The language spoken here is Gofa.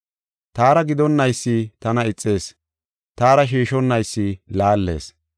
“Taara gidonaysi tana ixees; taara shiishonnaysi laallees.